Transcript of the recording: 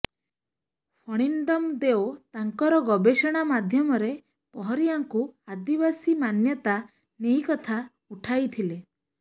ଫଣିନ୍ଦମ ଦେଓ ତାଙ୍କର ଗବେଷଣା ମାଧ୍ୟମରେ ପହରିଆଙ୍କୁ ଆଦିବାସି ମାନ୍ୟତା ନେଇକଥା ଉଠାଇଥିଲେ